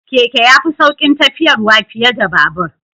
Keke ya fi saukin tafiyarwa fiye da babur